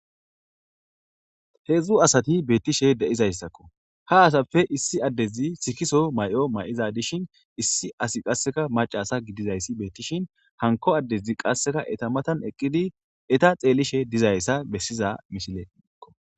heedzdzu asati beettishe de7izayssakko ha asapfe issi addezi sikiso may7o may7iza dishin issi asi qasseka macasa gidizayssi beettishin hanko addezi qasseka eta matan eqqidi eta xeellishe dizayssa bessiza mishile iikko